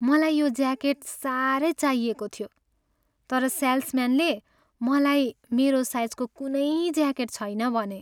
मलाई यो ज्याकेट साह्रै चाहिएको थियो तर सेल्सम्यानले मलाई मेरो साइजको कुनै ज्याकेट छैन भने।